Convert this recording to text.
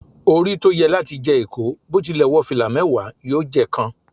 Ori to ye lati je iko, bo tile wo fila mewa, yoo je kan.